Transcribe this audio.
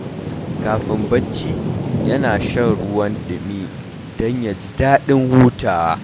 Kafin barci, yana shan ruwan dumi don ya ji daɗin hutawa.